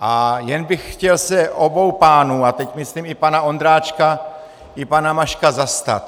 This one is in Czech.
A jen bych chtěl se obou pánů, a teď myslím i pana Ondráčka i pana Maška, zastat.